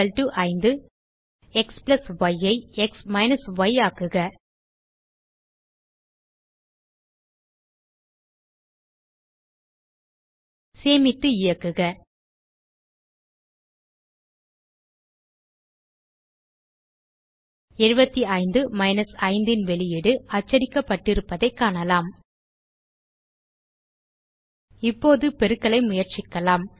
xy ஐ x ய் ஆக்குக சேமித்து இயக்குக 75 5 ன் வெளியீடு அச்சடிக்கப்பட்டிருப்பதைக் காணலாம் இப்போது பெருக்கலை முயற்சிக்கலாம்